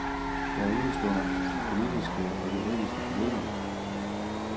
Der udestår nogle politiske og juridiske problemer.